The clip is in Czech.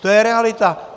To je realita!